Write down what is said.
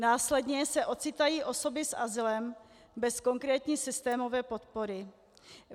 Následně se ocitají osoby s azylem bez konkrétní systémové podpory.